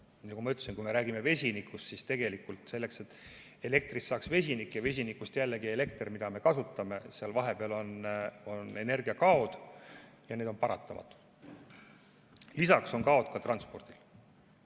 Nagu ma ütlesin, kui me räägime vesinikust, siis selleks et elektrist saaks vesinik ja vesinikust jällegi elekter, mida me kasutame, on seal vahepeal energiakaod ja need on paratamatud, lisaks on kaod transpordil.